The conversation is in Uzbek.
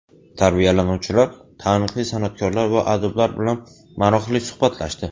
Tarbiyalanuvchilar taniqli san’atkorlar va adiblar bilan maroqli suhbatlashdi.